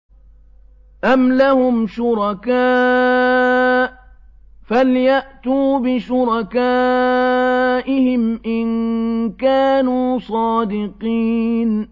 أَمْ لَهُمْ شُرَكَاءُ فَلْيَأْتُوا بِشُرَكَائِهِمْ إِن كَانُوا صَادِقِينَ